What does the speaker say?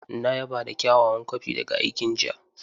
Na yaba da kyawawan kwafi daga aikin jiya.